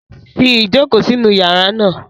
Fi ijoko sinu yara naa